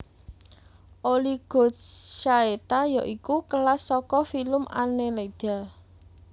Oligochaeta yaiku kelas saka filum Annelida